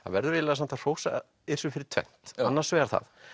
verður eiginlega samt að hrósa fyrir tvennt annars vegar það